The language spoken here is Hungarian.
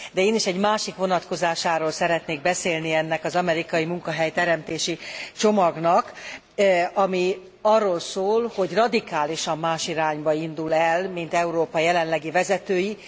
De én is egy másik vonatkozásáról szeretnék beszélni ennek az amerikai munkahely teremtési csomagnak, ami arról szól, hogy radikálisan más irányba indul el, mint Európa jelenlegi vezetői.